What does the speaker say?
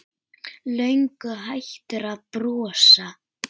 Löngu hættur að brosa.